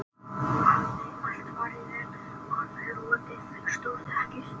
Þá hafði allt farið vel og hann hlotið stórþakkir